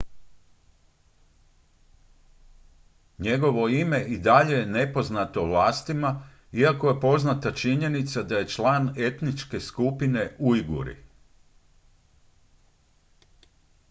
njegovo ime i dalje je nepoznato vlastima iako je poznata činjenica da je član etničke skupine ujguri